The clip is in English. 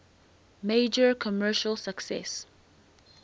major commercial success